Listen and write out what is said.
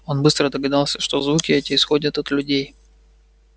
он быстро догадался что звуки эти исходят от людей